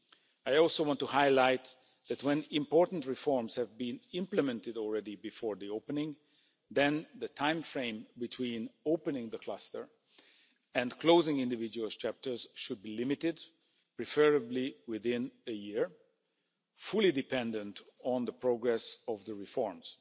I also want to highlight that when important reforms have been implemented already before the opening, then the timeframe between opening the cluster and closing individual chapters should be limited, preferably within a year, fully dependent on the progress of the reforms.